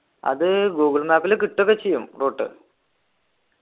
അത് ഗൂഗിൾ മാപ്പിൽ കിട്ടുഒക്കെ ചെയ്യും route